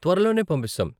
త్వరలోనే పంపిస్తాం!